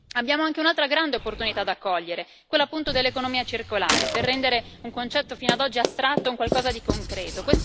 Abbiamo anche un'altra grande opportunità da cogliere, quella dell'economia circolare, per rendere un concetto fino ad oggi astratto un qualcosa di concreto.